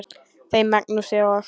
Þeim Magnúsi og